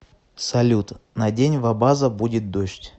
салют на день в абаза будет дождь